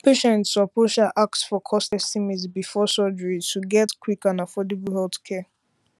patients suppose um ask for cost estimate before surgery to get quick and affordable healthcare